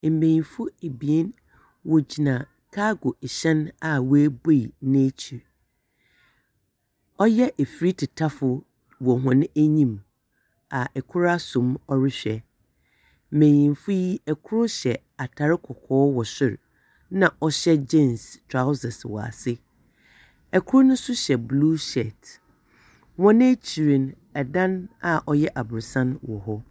Mmenyinfo ebien wogyina kaago nhyɛn a webue n'ekyi. Ɔyɛ efri titafo wɔ wɔn enim a ɛkoro asom a ɔrehwɛ. Menyinfo yi, ɛkor hyɛ atar kɔkɔɔ wɔ soro nna ɔhyɛ jins trausɛs wɔ ase. Kor no hyɛ blu shɛt. Wɔ n'ekyi no, ɛdan a ɔyɛ abrɔsan wɔ hɔ.